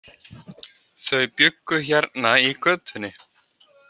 Þau bjuggu hérna í götunni.